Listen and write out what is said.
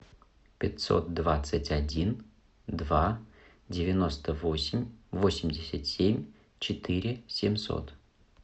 пятьсот двадцать один два девяносто восемь восемьдесят семь четыре семьсот